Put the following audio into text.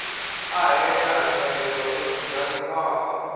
i ṱahela nyelelo yo dzudzanyiwaho